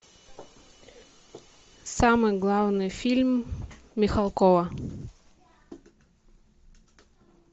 самый главный фильм михалкова